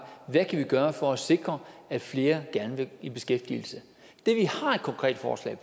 vi kan gøre for at sikre at flere gerne vil i beskæftigelse det vi har et konkret forslag